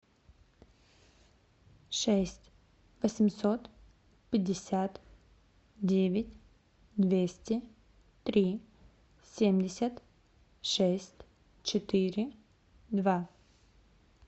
шесть восемьсот пятьдесят девять двести три семьдесят шесть четыре два